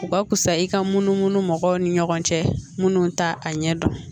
U ka fisa i ka munumunu mɔgɔw ni ɲɔgɔn cɛ minnu ta a ɲɛ dɔn